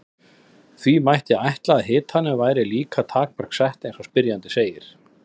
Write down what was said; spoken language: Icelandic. Því mætti ætla að hitanum væri líka takmörk sett eins og spyrjandi segir.